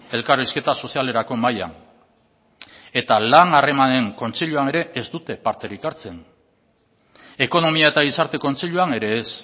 elkarrizketa sozialerako mahaian eta lan harremanen kontseiluan ere ez dute parterik hartzen ekonomia eta gizarte kontseiluan ere ez